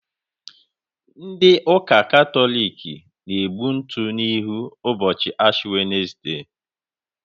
Ndị ụka Katọlik na-egbu ntụ n'ihu ụbọchị Ashi wenesde.